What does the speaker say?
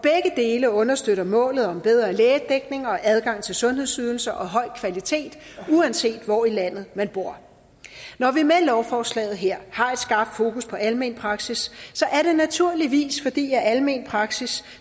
dele understøtter målet om bedre lægedækning og adgang til sundhedsydelser og høj kvalitet uanset hvor i landet man bor når vi med lovforslaget her har et skarpt fokus på almen praksis er det naturligvis fordi almen praksis